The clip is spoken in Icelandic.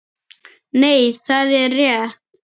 Nei, það er rétt.